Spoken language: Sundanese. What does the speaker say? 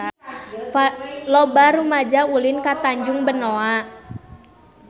Loba rumaja ulin ka Tanjung Benoa